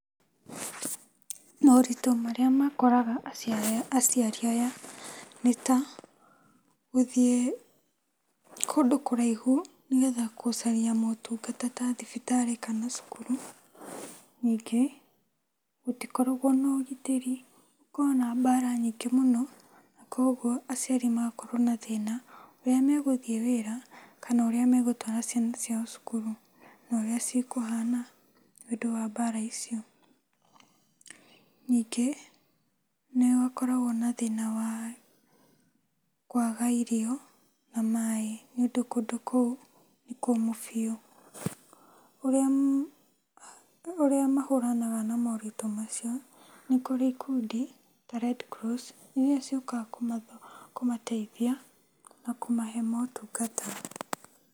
Moritũ maria makoraga acia aciari aya nĩta; gũthiĩ kũndũ kũraihu nĩgetha kũcaria motungata ta thibitarĩ kana cukuru. Nyingĩ, gũtikoragwo na ũgitĩri, gũkoragwo na mbara nyingĩ mũno. Kuogwo aciari magakorwo na thĩna, ũrĩa megũthiĩ wĩra kana ũrĩa megũtwara ciana ciao cukuru norĩa cikũhana nĩũndũ wa bara icio. Nyingĩ, nĩgũkoragwo na thĩna wa kwaga irio na maĩ, nĩũndũ kũndũ kũu nĩkũkũmũ biũ. ũrĩa ma mahũranaga na moritũ macio, nĩkũrĩ ikundi ta Red Cross iria ciũkaga kũmatho kũmateithia na kũmahe motungata.